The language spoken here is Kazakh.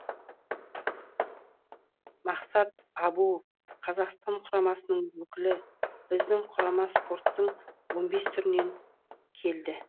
мақсат әбуов қазақстан құрамасының өкілі біздің құрама спорттың он бес түрінен келді